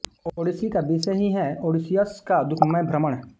Odyssey का विषय ही है ओडेसियस का दुःखमय भ्रमण